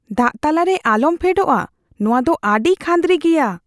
ᱫᱟᱜ ᱛᱟᱞᱟᱨᱮ ᱟᱞᱚᱢ ᱯᱷᱮᱰᱚᱜᱼᱟ ᱾ ᱱᱚᱶᱟ ᱫᱚ ᱟᱹᱰᱤ ᱠᱷᱟᱺᱫᱨᱤ ᱜᱮᱭᱟ !